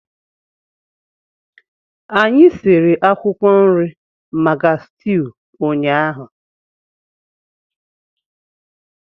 Anyị sie akwụkwọ nri maka stew ụnyaahụ.